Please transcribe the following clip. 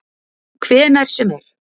Hvenær sem er.